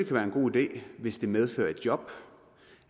være en god idé hvis det medfører et job